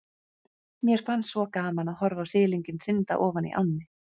Mér fannst svo gaman að horfa á silunginn synda ofan í ánni.